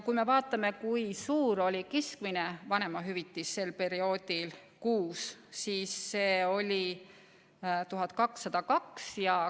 Kui me vaatame, kui suur oli keskmine vanemahüvitis sel perioodil kuus, siis see oli 1202 eurot.